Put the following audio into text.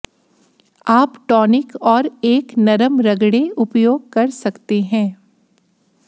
आप टॉनिक और एक नरम रगडें उपयोग कर सकते हैं